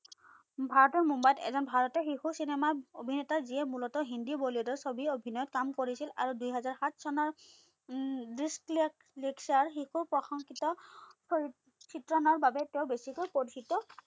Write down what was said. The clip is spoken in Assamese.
ভাৰতৰ মুম্বাইত এজন ভাৰতৰ শিশু চিনেমা অভিনেতা যিয়ে মুলতঃ হিন্দি বলিউডৰ ছবিত কাম কৰিছিল আৰু দুহেজাৰ সাত চনৰ উম দিচলিয়াক শিশু প্ৰশংসিত হৰিত চিত্ৰনৰ বাবে তেওঁ বেছিকৈ কথিত